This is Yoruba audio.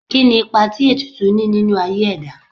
Kí ni ipa tí ètùtù ní nínú aye ẹ̀dá?